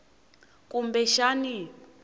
kumbexani